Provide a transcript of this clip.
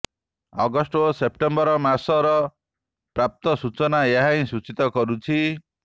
August ଓ September ମାସର ପ୍ରାପ୍ତ ସୂଚନା ଏହାହିଁ ସୂଚୀତ କରୁଛି